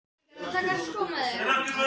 Linda: Hvernig heldur þú að Maríu líði?